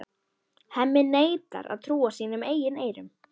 Hemmi neitar að trúa sínum eigin eyrum.